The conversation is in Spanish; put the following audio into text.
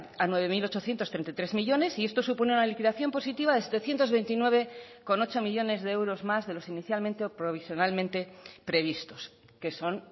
a nueve mil ochocientos treinta y tres millónes y esto supone una liquidación positiva de setecientos veintinueve coma ocho millónes de euros más de los inicialmente o provisionalmente previstos que son